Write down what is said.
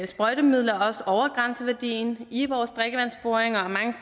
sprøjtemidler også over grænseværdien i vores drikkevandsboringer